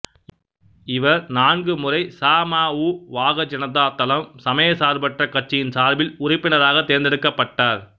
இவா் நான்கு முறை ச ம உ வாக ஜனதா தளம் சமயச்சார்பற்ற கட்சியின் சார்பில் உறுப்பினராக தோ்ந்தெடுக்கப்பட்டார்